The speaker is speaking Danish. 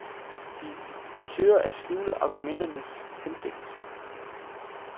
De søger at skjule argumenternes hensigt.